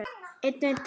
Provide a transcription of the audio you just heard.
Öðrum til góðs.